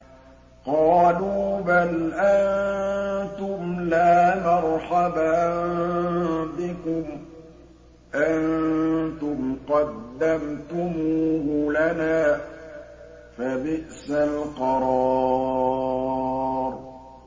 قَالُوا بَلْ أَنتُمْ لَا مَرْحَبًا بِكُمْ ۖ أَنتُمْ قَدَّمْتُمُوهُ لَنَا ۖ فَبِئْسَ الْقَرَارُ